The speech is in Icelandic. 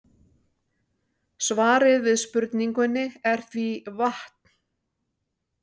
Svarið við spurningunni er því vatn.